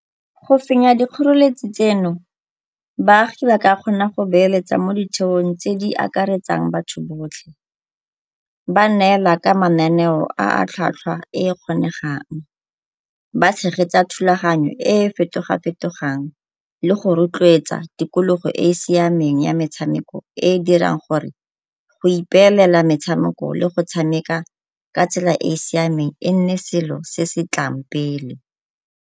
Go fenya dikgoreletsi tseno baagi ba ka kgona go beeletsa mo ditheong tse di akaretsang batho botlhe. Ba neela ka mananeo a tlhwatlhwa e e kgonegang, ba tshegetsa thulaganyo e e fetoga-fetogang le go rotloetsa tikologo e e siameng ya metshameko e e dirang gore go ipeelela metshameko le go tshameka ka tsela e e siameng e nne selo se se tlang pele.